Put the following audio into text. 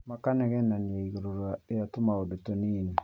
Makanegenania igũrũ rĩ tumaũndũ tũnini